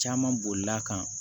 Caman bolila kan